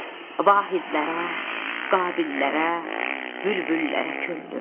Vahidlərə, Qabillərə, bülbüllərə könlüm.